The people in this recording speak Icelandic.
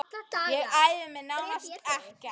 Ég æfði mig nánast ekkert.